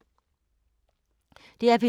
DR P2